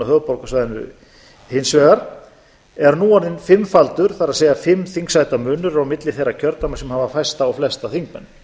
höfuðborgarsvæðinu hins vegar er nú orðinn fimmfaldur það er fimm þingsæta munur er á milli þeirra kjördæma sem hafa fæsta og flesta þingmenn